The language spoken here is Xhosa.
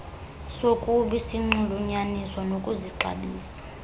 sokubi sinxulunyaniswa nokuzixabisa